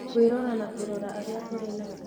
Kwĩrora na kũrora arĩa tũrĩ nao